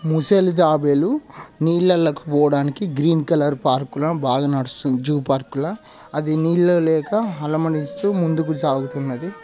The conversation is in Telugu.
ముసలి తాబేలు నీళ్లలోకి పోవడానికి గ్రీన్ కలర్ పార్క్ ల బాగా నడుస్తున్నది జూ పార్క్ ల అది నీళ్లు లేక అలమటిస్తూ ముందు కి సాగుతున్నది.